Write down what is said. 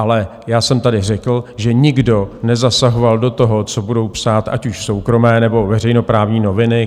Ale já jsem tady řekl, že nikdo nezasahoval do toho, co budou psát ať už soukromé, nebo veřejnoprávní noviny.